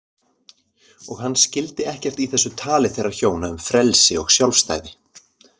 Og hann skildi ekkert í þessu tali þeirra hjóna um frelsi og sjálfstæði.